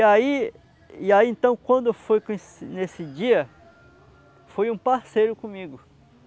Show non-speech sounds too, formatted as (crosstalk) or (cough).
E aí, e aí então, quando eu fui (unintelligible) nesse dia, foi um parceiro comigo.